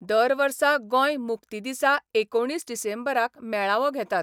दर वर्सा गोंय मुक्ती दिसा एकुणीस डिसेंबराक मेळावो घेतात.